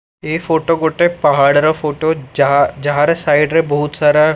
ଏ photo ଗୋଟେ ପାହାଡର photo ଯା ଯାହାର ସାଇଡରେ ବହୁତ ସାରା--